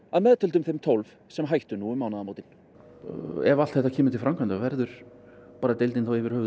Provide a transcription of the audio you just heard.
að meðtöldum þeim tólf sem hættu um mánaðamótin ef allt þetta kemur til framkvæmda verður deildin yfir höfuð